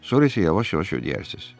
Sonra isə yavaş-yavaş ödəyərsiz.